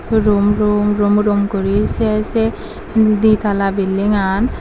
rum rum rum rum guri sey sey di talla bildingan.